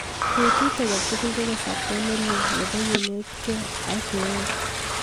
Petut age tugul ko kasarta nelel nebo kenetkei ak keet